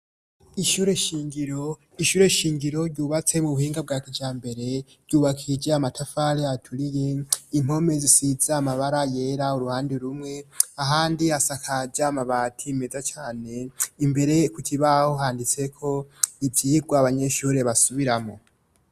Ishure shingiro. Ishure shingiro ryubatse mu buhinga bwa kijambere ryubakishije amatafari aturiye, impome zisize amabara yera uruhande rumwe, ahandi hasakaje amabati meza cane. Imbere ku kibaho handise ko ivyigwa abanyeshure basubiramwo.